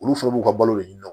Olu fɛnɛ b'u ka balo de ɲini